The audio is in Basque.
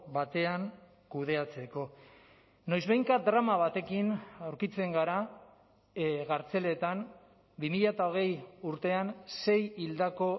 batean kudeatzeko noizbehinka drama batekin aurkitzen gara kartzeletan bi mila hogei urtean sei hildako